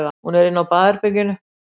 Hún er inni á baðherberginu.